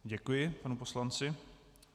Děkuji panu poslanci.